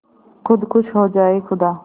खुद खुश हो जाए खुदा